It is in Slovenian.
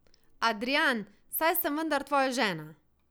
Adrijan, saj sem vendar tvoja žena!